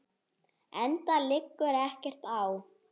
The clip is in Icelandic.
Enda liggur ekkert á.